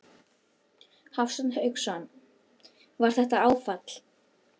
Hafsteinn Hauksson: Var þetta áfall?